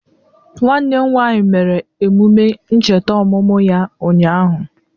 Nwanne m nwanyi mere emụme ncheta omụmụ ya unyaahụ